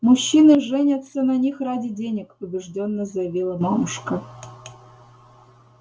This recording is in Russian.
мужчины женятся на них ради денег убеждённо заявила мамушка